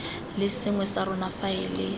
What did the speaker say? le sengwe sa rona faele